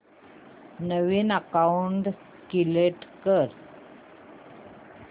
नवीन account create कर